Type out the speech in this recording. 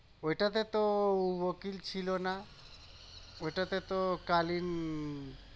ওইটা তে তো ও উকিল ছিলো না ওইটাতে তে তো কলিম